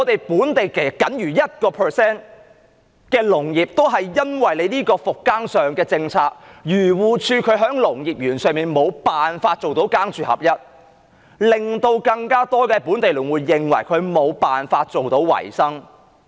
本地僅餘 1% 的農業，而因為復耕政策，因為漁農自然護理署在農業園上無法做到"耕住合一"，令到更多本地農戶無法維生。